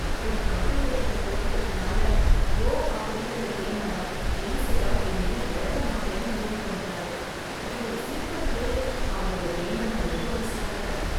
ஒரு கம்ப்யூட்டர்கிட்ட தோத்துட்டதுனால "கோ" அப்படிங்கற கேம லீ செடால் இனிமேல் விளையாட மாட்டேன்னு முடிவு பண்ணிட்டாரு. அவர் ஒரு சூப்பர் பிளேயர், அவரோட கேம நான் ரொம்ப மிஸ் பண்றேன்.